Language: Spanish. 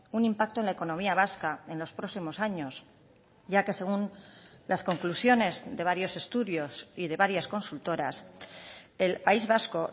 un impacto en la economía vasca en los próximos años ya que según las conclusiones de varios estudios y de varias consultoras el país vasco